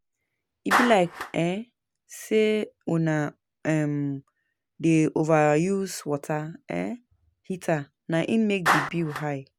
E be like sey una dey overuse water heater na im make di bill high.